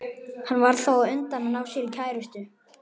Hann varð þá á undan að ná sér í kærustu.